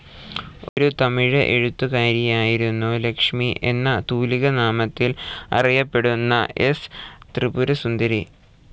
ഒരു തമിഴ് എഴുത്തുകാരിയായിരുന്നു ലക്ഷ്മി എന്ന തൂലികാനാമത്തിൽ അറിയപ്പെടുന്ന എസ്. ത്രിപുരസുന്ദരി.